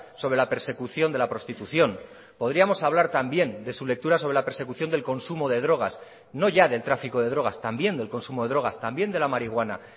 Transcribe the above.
sobre la persecución de la prostitución podríamos hablar también de su lectura sobre la persecución del consumo de drogas no ya del tráfico de drogas también del consumo de drogas también de la marihuana